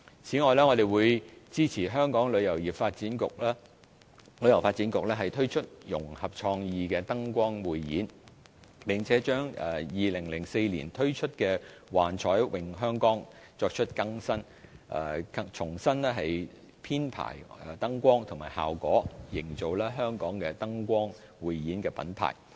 此外，我們會支持香港旅遊發展局推出融合創意的燈光匯演，並把2004年推出的"幻彩詠香江"作出更新，重新編排燈光和效果，營造香港的燈光匯演品牌。